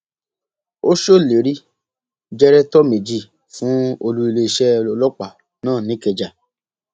ó ṣèlérí jẹrẹtọ méjì fún olú iléeṣẹ ọlọpàá náà nìkẹjà